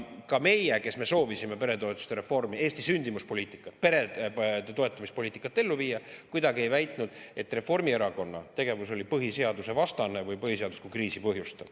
Ja meie, kes me soovisime peretoetuste reformi, Eesti sündimuspoliitikat ja perede toetamise poliitikat ellu viia, mitte kuidagi ei väitnud, et Reformierakonna tegevus on põhiseaduse vastane või põhiseaduslikku kriisi põhjustav.